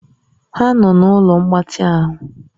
Ha nọ na ụlọ mgbatị ahụ?